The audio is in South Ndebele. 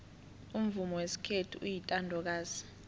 umvumo wesikhethu uyintandokazi